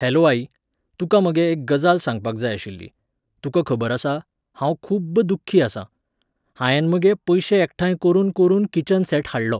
Hello आई, तुका मगे एक गजाल सांगपाक जाय आशिल्ली, तुका खबर आसा, हांव खूब्ब दुख्खी आसां. हायेन मगे पयशे एकठांय करुन करुन किचन सॅट हाडलो